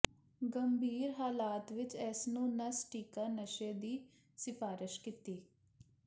ਗੰਭੀਰ ਹਾਲਾਤ ਵਿੱਚ ਇਸ ਨੂੰ ਨਸ ਟੀਕਾ ਨਸ਼ੇ ਦੀ ਸਿਫਾਰਸ਼ ਕੀਤੀ